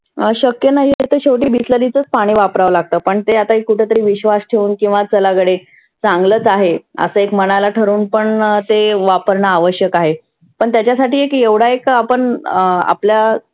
शक्य नाही तर शेवटी bisalary च पाणि वापराव लागतं. पण ते आता कुठे तरी विश्वास ठेऊन किंवा चला गडे चांगलच आहे. आसं एक मनाला ठरवून पण ते वापरण आवश्यक आहे. पण त्याच्यासाठी एकढा एक पण आपल्या